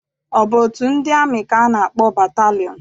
Ọ bụ otu ndị amị ka a na-akpọ batalịọn?